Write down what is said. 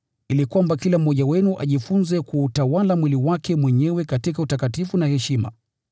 ili kwamba kila mmoja wenu ajifunze kuutawala mwili wake mwenyewe katika utakatifu na heshima,